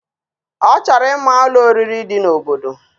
Ochoro ima Ụlọ oririi di na obodo